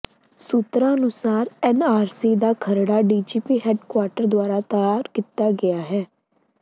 ਸੂਤਰਾਂ ਅਨੁਸਾਰ ਐਨਆਰਸੀ ਦਾ ਖਰੜਾ ਡੀਜੀਪੀ ਹੈੱਡਕੁਆਰਟਰ ਦੁਆਰਾ ਤਿਆਰ ਕੀਤਾ ਗਿਆ ਹੈ